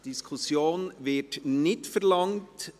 Die Diskussion wird nicht verlangt.